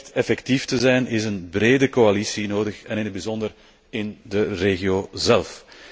Om echt effectief te zijn, is een brede coalitie nodig en in het bijzonder in de regio zelf.